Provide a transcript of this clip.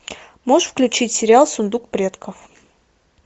можешь включить сериал сундук предков